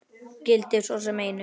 Gildir svo sem einu.